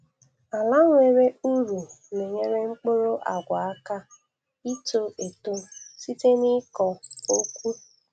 Ala nwere ụrọ na-enyere mkpụrụ agwa aka ito eto site n'ikọ okwu